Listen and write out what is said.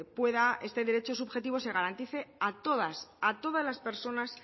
este derecho subjetivo se garantice a todas las personas